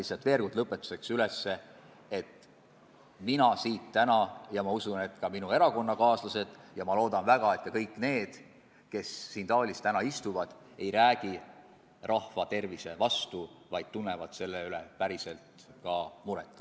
Ja rõhutan lõpetuseks veel kord üle, et mina ja usutavasti ka minu erakonnakaaslased loodame väga, et kõik, kes siin saalis täna istuvad, ei hääleta rahva tervise vastu, vaid tunnevad selle pärast päriselt muret.